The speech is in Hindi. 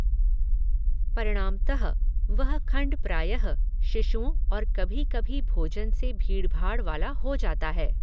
परिणामतः वह खण्ड प्रायः शिशुओं और कभी कभी भोजन से भीड़भाड़ वाला हो जाता है।